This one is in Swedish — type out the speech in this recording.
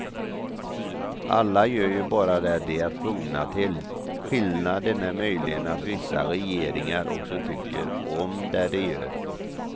Alla gör ju bara det de är tvungna till, skillnaden är möjligen att vissa regeringar också tycker om det de gör.